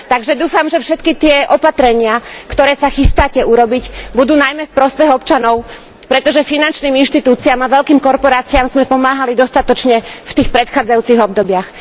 Takže dúfam, že všetky tie opatrenia, ktoré sa chystáte urobiť, budú najmä v prospech občanov, pretože finančným inštitúciám a veľkým korporáciám sme pomáhali dostatočne v tých predchádzajúcich obdobiach.